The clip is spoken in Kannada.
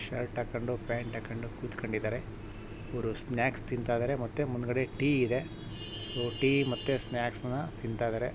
ಶರ್ಟ್ ಹಾಕೊಂಡು ಪ್ಯಾಂಟ್ ಹಾಕೊಂಡು ಕೂತಿಕೊಂಡಿದ್ದಾರೆ ಇವರೂ ಸ್ನಾಕ್ಸ್ ತಿನ್ನತ ಇದ್ದಾರೆ ಮುಂದ್ಗಡೆ ಟೀ ಇದೆ ಸೊ ಟೀ ಮತ್ತೆ ಸ್ನ್ಯಾಕ್ಸ್ ಅನು ತಿನ್ನತ ಇದ್ದಾರೆ.